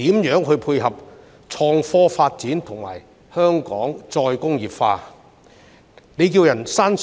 如何配合創科發展和香港"再工業化"？